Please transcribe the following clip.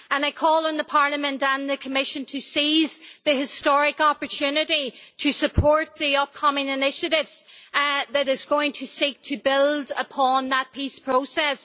I call on Parliament and the Commission to seize the historic opportunity to support the upcoming initiatives that are going to seek to build upon that peace process.